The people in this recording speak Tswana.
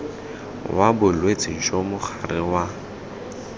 wa bolwetse jo mogare wa